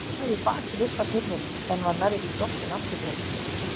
Ég lagði bakið upp að hurðinni en var nærri því dottin aftur fyrir mig.